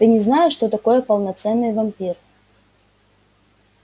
ты не знаешь что такое полноценный вампир